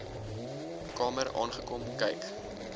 kamer aangekom kyk